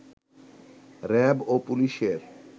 RAB ও পুলিশের